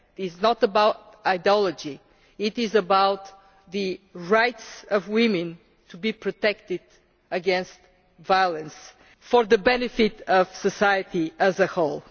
It is not about ideology it is about the right of women to be protected against violence for the benefit of society as a whole.